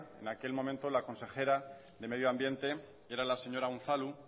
en aquel momento la consejera de medio ambiente era la señora unzalu